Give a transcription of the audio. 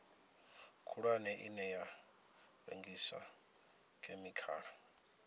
khulwane ine ya rengisa khemikhala